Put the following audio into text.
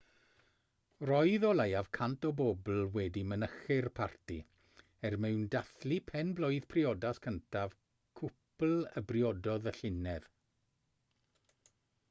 roedd o leiaf 100 o bobl wedi mynychu'r parti er mwyn dathlu pen-blwydd priodas cyntaf cwpl a briododd y llynedd